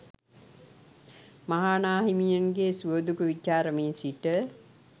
මහා නා හිමියන්ගේ සුව දුක් විචාරමින් සිට